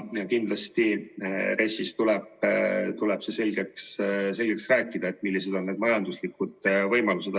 Ja kindlasti tuleb RES-i puhul selgeks rääkida, millised on majanduslikud võimalused.